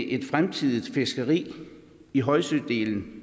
et fremtidig fiskeri i højsødelen